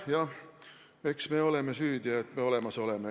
Jah, eks me oleme süüdi, et me olemas oleme.